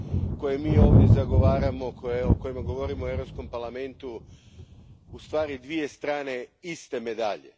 koje mi ovdje zagovaramo, o kojima govorimo u Europskom parlamentu, u stvari dvije strane iste medalje.